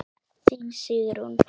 Þín, Sigrún.